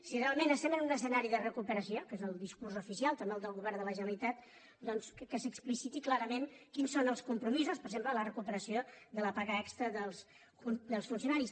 si realment estem en un escenari de recupe·ració que és el discurs oficial també el del govern de la generalitat doncs que s’explicitin clarament quins són els compromisos per exemple la recuperació de la paga extra dels funcionaris